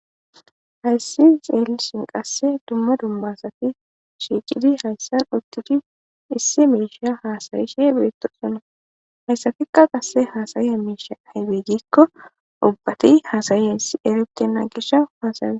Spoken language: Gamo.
Hayssan xellishin qase duma duma asati shiqqidi hayssan uttidi issi mishsha hassayishe bettokona hayssatiika qase hassayiza mishshay ayibbe gikko ubbati hassyizayi eretena gishaw hasa'osona.